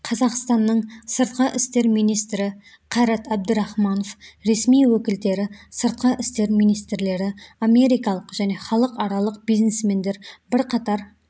қазақстанның сыртқы істер министрі қайрат әбдірахманов ресми өкілдері сыртқы істер министрлері америкалық және халықаралық бизнесмендер бірқатар